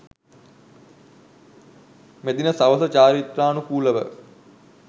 මෙදින සවස චාරිත්‍රානුකූලව